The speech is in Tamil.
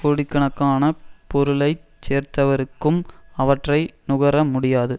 கோடிக்கணக்கானப் பொருளை சேர்த்தவருக்கும் அவற்றை நுகர முடியாது